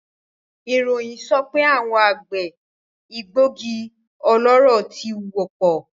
Iroyin sope awon agbe egbogi oloro ti wopo